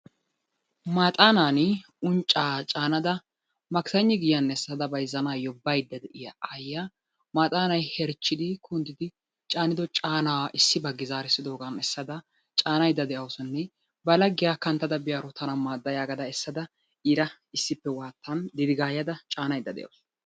Maaxaanaani unccaa caanada makisaynni giyan essada bayzzanaassi baydda de'iya aayyiya maaxaanay herchchidi kunddidi caanido caanaa issi baggi zaaridoogaa essada caanaydda de'awusunne ba laghiya kanttada baydda diyaro tana maadda gaada essada iira issippe waattan didigaayada caanaydda de'awusu.